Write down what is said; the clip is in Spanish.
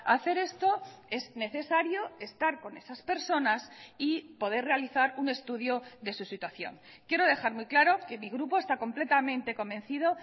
hacer esto es necesario estar con esas personas y poder realizar un estudio de su situación quiero dejar muy claro que mi grupo está completamente convencido